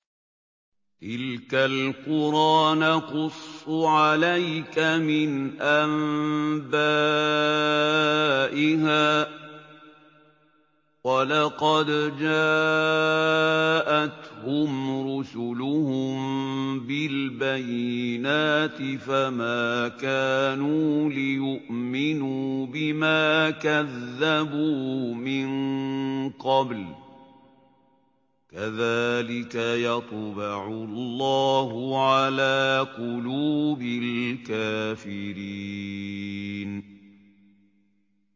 تِلْكَ الْقُرَىٰ نَقُصُّ عَلَيْكَ مِنْ أَنبَائِهَا ۚ وَلَقَدْ جَاءَتْهُمْ رُسُلُهُم بِالْبَيِّنَاتِ فَمَا كَانُوا لِيُؤْمِنُوا بِمَا كَذَّبُوا مِن قَبْلُ ۚ كَذَٰلِكَ يَطْبَعُ اللَّهُ عَلَىٰ قُلُوبِ الْكَافِرِينَ